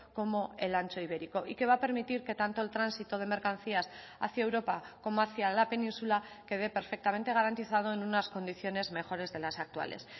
como el ancho ibérico y que va a permitir que tanto el tránsito de mercancías hacia europa como hacia la península quede perfectamente garantizado en unas condiciones mejores de las actuales